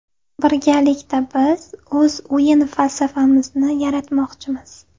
Birgalikda biz o‘z o‘yin falsafamizni yaratmoqchimiz.